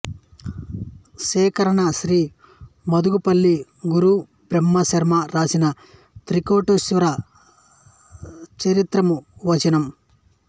సేకరణ శ్రీ మద్దులపల్లి గురు బ్రహ్మ శర్మ రాసిన శ్రీ త్రికోటీశ్వర చరిత్రమువచనం